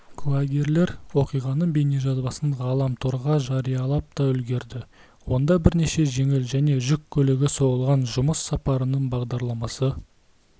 куәгерлер оқиғаның бейнежазасын ғаламторғажариялап та үлгерді онда бірнеше жеңіл және жүк көлігі соғылған жұмыс сапарының бағдарламасы